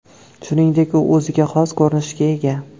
Shuningdek, u o‘ziga xos ko‘rinishga ega.